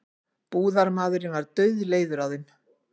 Búðarmaðurinn var dauðleiður á þeim.